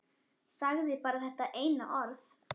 Sagði bara þetta eina orð.